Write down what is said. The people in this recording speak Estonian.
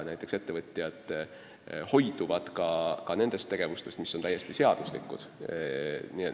Näiteks ettevõtjad hoiduvad ka nendest tegevustest, mis on täiesti seaduslikud.